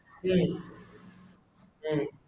ഉം ഉം